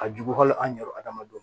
Ka jugu wali an yɛrɛdamaw ma